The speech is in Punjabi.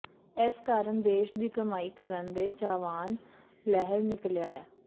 ਇਸ ਕਾਰਨ ਦੇਸ਼ ਦੀ ਕਮਾਈ ਕਰਨ ਦੇ ਚਾਹਵਾਨ ਲਹਿਰ ਨਿਕਲਿਆ